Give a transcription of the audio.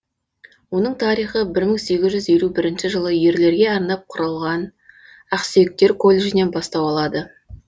оның тарихы бір мың сегіз жүз елу бірінші жылы ерлерге арнап құрылған ақсүйектер колледжінен бастау алады